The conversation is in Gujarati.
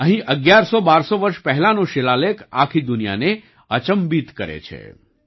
અહીં અગિયારસો બારસો વર્ષ પહેલાનો શિલાલેખ આખી દુનિયાને અચંબિત કરે છે